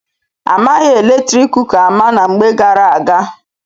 A maghị eletrik kuka ama na mgbe gara aga.